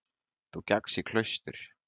Þú gekkst í klaustur.